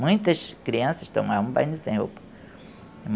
Muitas crianças tomavam banho sem roupa.